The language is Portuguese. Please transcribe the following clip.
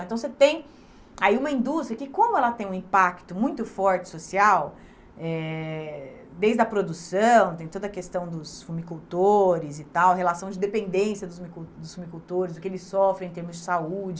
Então, você tem aí uma indústria que como ela tem um impacto muito forte social, eh desde a produção, tem toda a questão dos fumicultores e tal, relação de dependência dos fumicultores, o que eles sofrem em termos de saúde,